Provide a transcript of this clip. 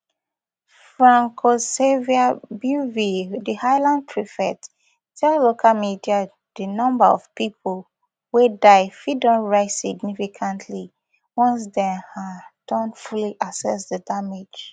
francoisxavier bieuville di island prefect tell local media di number of pipo wey die fit don rise significantly once dem um don fully assess di damage